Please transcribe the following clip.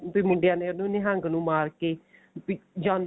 ਉਹਨੇ ਮੁੰਡਿਆਂ ਨੇ ਉਹਨੂੰ ਨਿਹੰਗ ਨੂੰ ਮਾਰ ਕੇ ਵੀ ਜਾਨੋ